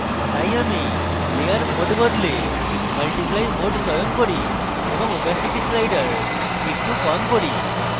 তাই আমি layer mode বদলে multiply mode চয়ন করি এওবং opacity slider একটু কম করি